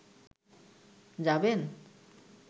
যাবেন